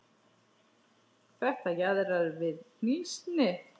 Þetta jaðrar við hnýsni.